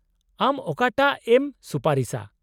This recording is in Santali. -ᱟᱢ ᱚᱠᱟᱴᱟᱜ ᱮᱢ ᱥᱩᱯᱟᱨᱤᱥᱟ ?